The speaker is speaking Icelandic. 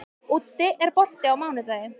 Úddi, er bolti á mánudaginn?